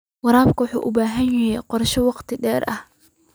Waraabka waxa uu u baahan yahay qorshe wakhti dheer ah.